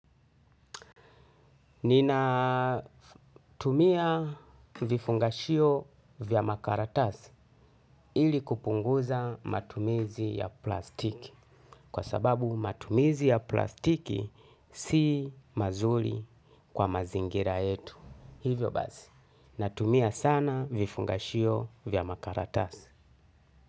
Nina tumia vifungashio vya makaratasi ili kupunguza matumizi ya plastiki. Kwa sababu matumizi ya plastiki si mazuli kwa mazingira yetu. Hivyo basi, natumia sana vifungashio vya makaratasi.